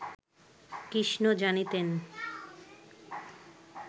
কৃষ্ণ জানিতেন